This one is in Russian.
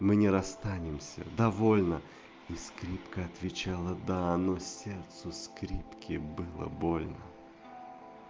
мы не расстанемся довольно и скрипка отвечала да но сердцу скрипки было больно